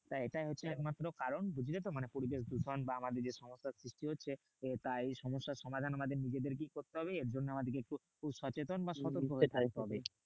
তা এটাই হচ্ছে একমাত্র কারণ বুঝলে তো? মানে পরিবেশ দূষণ বা আমাদের যেসমস্ত ক্ষতি হচ্ছে। তা এই সমস্যার সমাধান আমাদের নিজেদেরকেই করতে হবে। এরজন্য আমাদের কে একটু সচেতন বা সতর্ক হতে হবে।